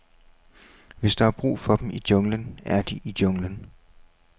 Hvis der er brug for dem i junglen, er de i junglen.